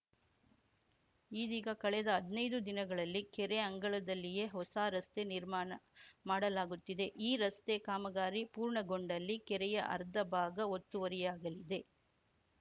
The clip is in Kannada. ಇದೀಗ ಕಳೆದ ಹದ್ನೈದು ದಿನಗಳಲ್ಲಿ ಕೆರೆ ಅಂಗಳದಲ್ಲಿಯೇ ಹೊಸ ರಸ್ತೆ ನಿರ್ಮಾಣ ಮಾಡಲಾಗುತ್ತಿದೆ ಈ ರಸ್ತೆ ಕಾಮಗಾರಿ ಪೂರ್ಣಗೊಂಡಲ್ಲಿ ಕೆರೆಯ ಅರ್ಧ ಭಾಗ ಒತ್ತುವರಿಯಾಗಲಿದೆ